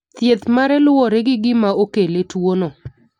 Thieth mare luwore gi gima okele tuono.